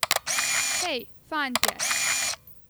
Hej, fantje.